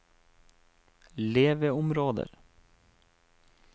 leveområder